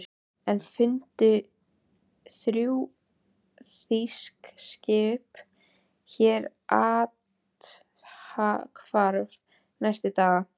Enn fundu þrjú þýsk skip hér athvarf næstu daga.